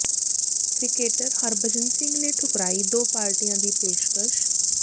cricketer Harbhajan Singh ਨੇ ਠੁਕਰਾਈ ਦੋ ਪਾਰਟੀਆਂ ਦੀ ਪੇਸ਼ਕਸ਼